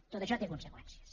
tot això té conseqüències